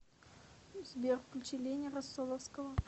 сбер включи лени россоловского